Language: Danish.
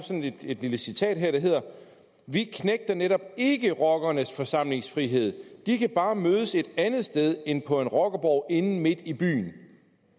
jeg et lille citat her der hedder vi knægter netop ikke rockernes forsamlingsfrihed de kan bare mødes et andet sted end på en rockerborg inde midt i byen